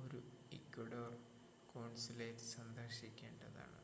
ഒരു Ecuador consulate സന്ദർശിക്കേണ്ടതാണ്